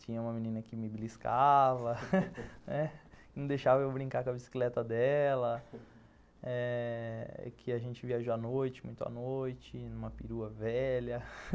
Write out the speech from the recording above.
Tinha uma menina que me beliscava, né, não deixava eu brincar com a bicicleta dela eh, que a gente viajou à noite, muito à noite, numa perua velha.